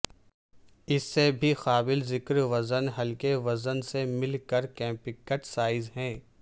اس سے بھی قابل ذکر وزن ہلکے وزن سے مل کر کمپیکٹ سائز ہے